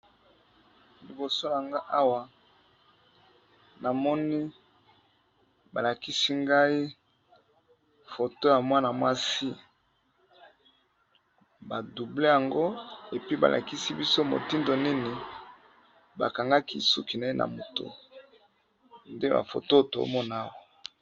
Liboso awa namoni balakisi ngai foto ya mwana mwasi badouble yango balakisi biso motindo nini bakangaki suki na ye na motu nde ba foto tomoni Awa.